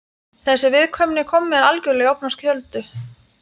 Þessi viðkvæmni kom mér algjörlega í opna skjöldu.